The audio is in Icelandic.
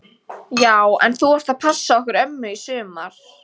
Já en þú ert að passa okkur ömmu í sumar!